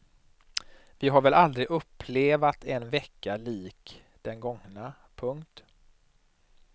Vi har väl aldrig upplevat en vecka lik den gångna. punkt